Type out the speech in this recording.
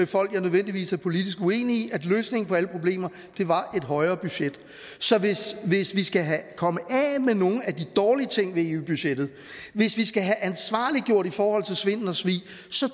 folk jeg nødvendigvis er politisk uenige i at løsningen på alle problemer var et højere budget så hvis vi skal komme af med nogle af de dårlige ting ved eu budgettet hvis vi skal have ansvarliggjort i forhold til svindel og svig